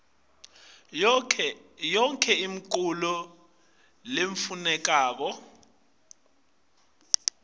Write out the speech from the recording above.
yonkhe imiculu lefunekako